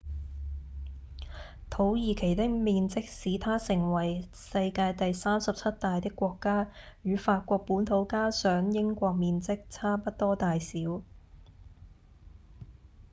土耳其的面積使它成為世界第37大的國家與法國本土加上英國面積差不多大小